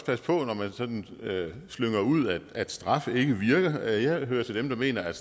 passe på når man sådan slynger ud at straf ikke virker jeg hører til dem der mener at